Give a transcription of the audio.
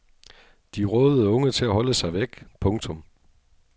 De rådede unge til at holde sig væk. punktum